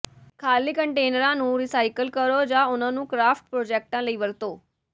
ਖਾਲੀ ਕੰਟੇਨਰਾਂ ਨੂੰ ਰੀਸਾਈਕਲ ਕਰੋ ਜਾਂ ਉਨ੍ਹਾਂ ਨੂੰ ਕਰਾਫਟ ਪ੍ਰੋਜੈਕਟਾਂ ਲਈ ਵਰਤੋ